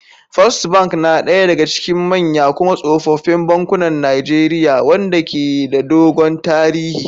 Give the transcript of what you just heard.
First Bank na daya daga cikin manya kuma tsofaffin bankunan Najeriya, wanda ke da dogon tarihi.